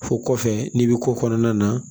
Fɔ kɔfɛ n'i bɛ ko kɔnɔna na